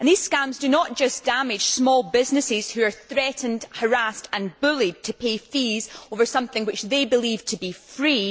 These scams do not just damage small businesses, which are threatened, harassed and bullied into paying fees for something they believed to be free